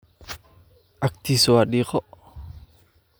Cagtiisu waa dhiiqo.